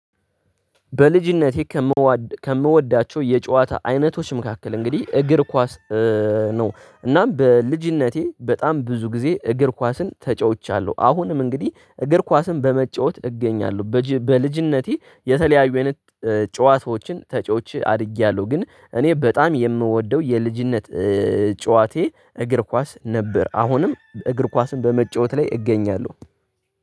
በልጅነቴ ከምወዳቸው የጨዋታ አይነቶች መካከል እንግዲህ እግር ኳስ ነው። እናም በልጅነቴ በጣም ብዙ ጊዜ እግር ኳስን ተጫውቻለሁ አሁንም እንግዲህ እግር ኳስን በመጫወት እገኛለሁ። በልጅነቴ የተለያዩ አይነት ጨዋታዎችን ተጪዎች አድጊያለሁ ግን እኔ በጣም የምወደው የልጅነት ጨዋታዬ እግር ኳስ ነበር። አሁንም እግር ኳስን በመጫወት ላይ እገኛለሁ